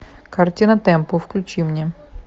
картина темпо включи мне